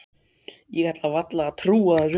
Ég ætlaði varla að trúa þessu.